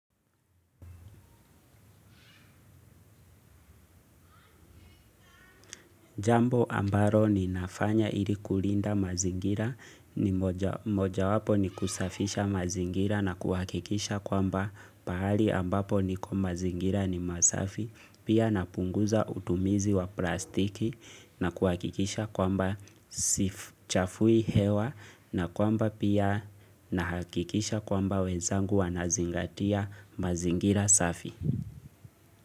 Jambo ambalo ninafanya ili kulinda mazingira ni moja wapo ni kusafisha mazingira na kuhakikisha kwamba pahali ambapo niko mazingira ni masafi pia napunguza utumizi wa plastiki na kuhakikisha kwamba sichafui hewa na kwamba pia nahakikisha kwamba wenzangu wanazingatia mazingira safi.